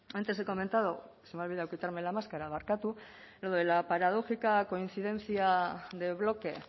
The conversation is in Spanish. antes he comentado se me ha olvidado quitarme la máscara barkatu lo de la paradójica coincidencia del bloque